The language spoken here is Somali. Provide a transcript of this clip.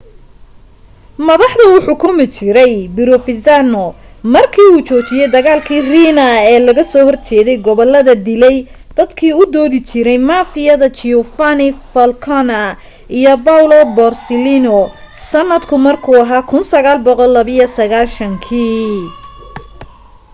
madaxda uu xukumi jiray provenzano marka uu joojiyay dagaalki riina ee looga soo horjeday gobolada dilay dadkii u doodi jiray mafiyada giovanni falcone iyo paolo borsellino sanadka markuu ahaa 1992